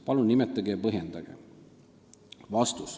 Palun nimetage ja põhjendage.